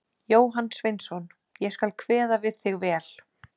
Jóhann Sveinsson: Ég skal kveða við þig vel.